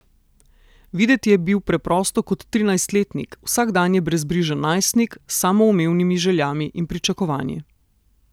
Videti je bil preprosto kot trinajstletnik, vsakdanje brezbrižen najstnik s samoumevnimi željami in pričakovanji.